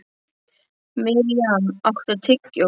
Mirjam, áttu tyggjó?